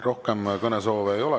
Rohkem kõnesoove ei ole.